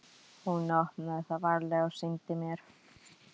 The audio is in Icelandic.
Hún opnaði það varlega og sýndi mér.